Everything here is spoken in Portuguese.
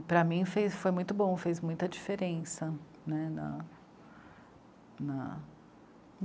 para mim, foi muito bom, fez muita diferença né, na....